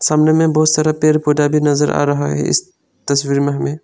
सामने में बहुत सारा पेड़ पौधा भी नजर आ रहा है इस तस्वीर में हमें।